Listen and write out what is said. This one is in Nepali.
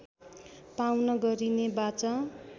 पाउन गरिने वाचा